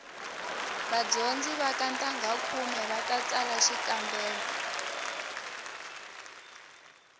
vadyondzi va ka ntangha khume va ta tsala xikambelo